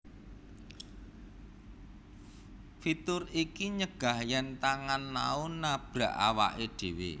Fitur iki nyegah yen tangan Nao nabrak awake dewe